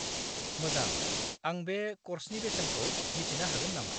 -मोजां! आं बे कर्सनि बेसेनखौ मिथिनो हागोन नामा?